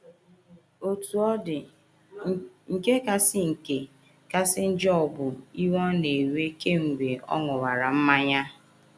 “ Otú ọ dị, nke kasị nke kasị njọ bụ iwe ọ na - ewe kemgbe ọ ṅụwara mmanya.